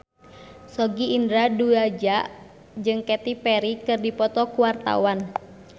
Sogi Indra Duaja jeung Katy Perry keur dipoto ku wartawan